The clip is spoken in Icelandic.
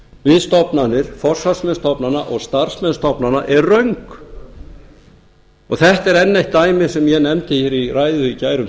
við stofnanir forsvarsmenn stofnana og starfsmenn stofnana er röng þetta er enn eitt dæmið sem ég nefndi hér í ræðu í gær um